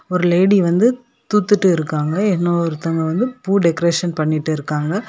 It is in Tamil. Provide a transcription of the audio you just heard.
ஒரு லேடி வந்து தூத்துட்டு இருக்காங்க இன்னொருத்தங்க வந்து பூ டெக்கரேஷன் பண்ணிட்டுருக்காங்க.